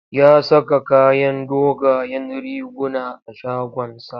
Ya saka kayan dogayen riguna a shagonsa.